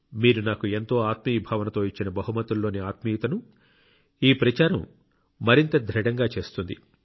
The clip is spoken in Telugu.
మీరు నాకు ఎంతో ఆత్మీయ భావన తో ఇచ్చిన బహుమతులోని ఆత్మీయతను ఈ ప్రచారం మరింత దృఢంగా చేస్తుంది